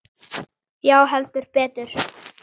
Já, heldur betur!